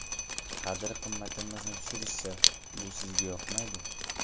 Qadr-qimmatimizni tushirishsa, bu bizga yoqmaydi.